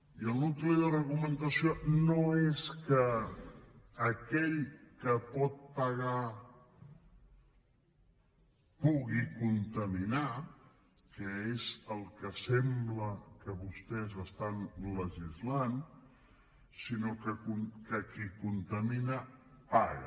i el nucli de l’argumentació no és que aquell que pot pagar pugui contaminar que és el que sembla que vostès estan legislant sinó que qui contamina paga